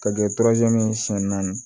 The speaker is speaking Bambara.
Ka kɛ ye siɲɛ naani